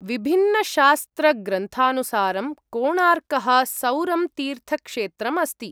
विभिन्नशास्त्रग्रनुसारं कोणार्कः सौरं तीर्थक्षेत्रम् अस्ति।